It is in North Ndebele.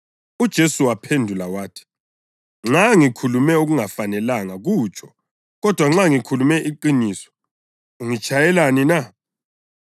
UJesu waphendula wathi, “Nxa ngikhulume okungafanelanga kutsho. Kodwa nxa ngikhulume iqiniso, ungitshayelani na?”